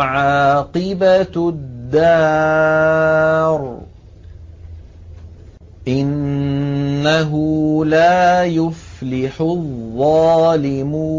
عَاقِبَةُ الدَّارِ ۗ إِنَّهُ لَا يُفْلِحُ الظَّالِمُونَ